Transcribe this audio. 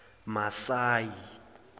masayi